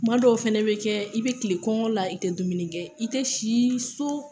Kuma dɔw fɛnɛ be kɛ, i be kilen kɔngɔ la i te dumuni kɛ, i te si so